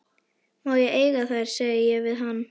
Má ég eiga þær, segi ég við hann.